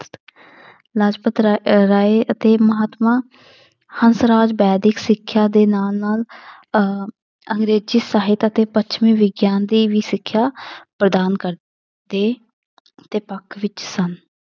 ਲਾਜਪਤਰਾ ਅਹ ਰਾਇ ਅਤੇ ਮਹਾਤਮਾ ਹੰਸਰਾਜ ਵੈਦਿਕ ਸਿੱਖਿਆ ਦੇ ਨਾਲ ਨਾਲ ਅਹ ਅੰਗਰੇਜ਼ੀ ਸਾਹਿਤ ਅਤੇ ਪੱਛਮੀ ਵਿਗਿਆਨ ਦੀ ਵੀ ਸਿੱਖਿਆ ਪ੍ਰਦਾਨ ਕਰ ਦੇ ਦੇ ਪੱਖ ਵਿੱਚ ਸਨ।